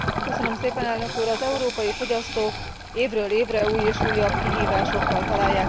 Az európai fogyasztók évről évre újabb és újabb kihívásokkal találják szemben magukat.